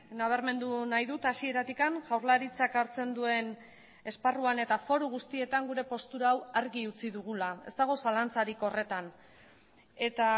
nabarmendu nahi dut hasieratik jaurlaritzak hartzen duen esparruan eta foru guztietan gure postura hau argi utzi dugula ez dago zalantzarik horretan eta